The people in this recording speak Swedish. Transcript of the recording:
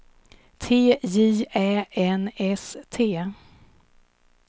T J Ä N S T